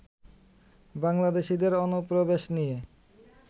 বাংলাদেশীদের অনুপ্রবেশ নিয়ে